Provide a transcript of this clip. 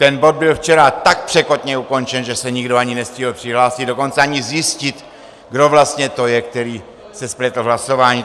Ten bod byl včera tak překotně ukončen, že se nikdo ani nestihl přihlásit, dokonce ani zjistit, kdo vlastně to je, který se spletl v hlasování.